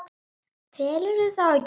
Telurðu þá ekki?